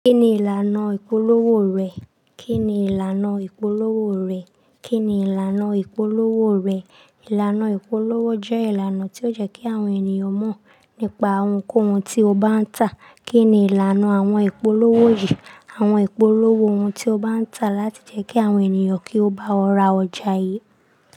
Kí ni ìlànà ìpolówó rẹ̀? Kí ni ìlànà ìpolówó rẹ̀? Kí ni ìlànà ìpolówó rẹ̀? Ìlànà ìpolówó jẹ́ ìlànà tí ó jẹ́ kí àwọn ènìyàn mọ̀ nípa ohunkóhun tí o bá ń tà. Kí ni ìlànà àwọn ìpolówó yìí? Àwọn ìpolówó ohun tí o bá ń tà láti jẹ́ kí àwọn ènìyàn kí ó bá ọ ra ọjà yìí.